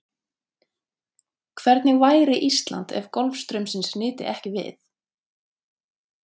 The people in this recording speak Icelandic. Hvernig væri Ísland ef golfstraumsins nyti ekki við?